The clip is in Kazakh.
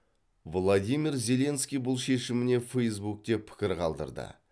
владимир зеленский бұл шешіміне фейзбук те пікір қалдырды